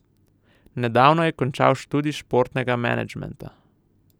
Nedavno je končal študij športnega menedžmeta.